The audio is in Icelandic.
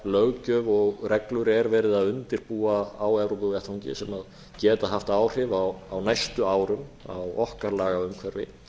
löggjöf og reglur er verið að undirbúa á evrópuvettvangi sem geta haft áhrif á næstu árum á okkar lagaumhverfi